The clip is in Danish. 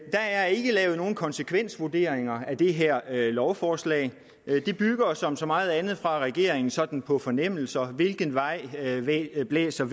er ikke lavet nogen konsekvensvurderinger af det her lovforslag det bygger som så meget andet fra regeringens side sådan på fornemmelser hvilken vej vinden blæser